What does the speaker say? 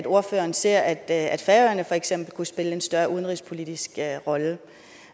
ordføreren ser at at færøerne for eksempel kunne spille en større udenrigspolitisk rolle